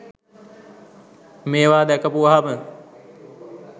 මේවා දැකපුවහම